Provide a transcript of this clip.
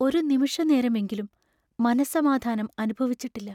ഒരു നിമിഷനേരമെങ്കിലും മനസ്സമാധാനം അനുഭവിച്ചിട്ടില്ല.